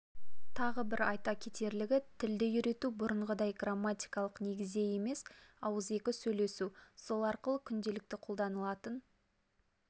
тағы бір айта кетерлігі тілді үйрету бұрынғыдай грамматикалық негізде емес ауызекі сөйлесу сол арқылы күнделікті қолданылатын